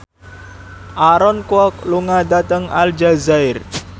Aaron Kwok lunga dhateng Aljazair